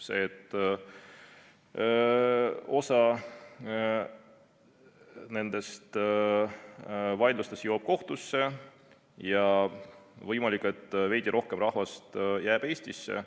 See, et osa nendest vaidlustest jõuavad kohtusse ja võimalik, et veidi rohkem rahvast jääb Eestisse.